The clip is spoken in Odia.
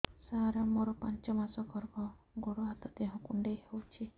ସାର ମୋର ପାଞ୍ଚ ମାସ ଗର୍ଭ ଗୋଡ ହାତ ଦେହ କୁଣ୍ଡେଇ ହେଉଛି